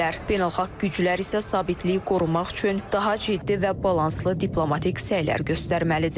Beynəlxalq güclər isə sabitliyi qorumaq üçün daha ciddi və balanslı diplomatik səylər göstərməlidir.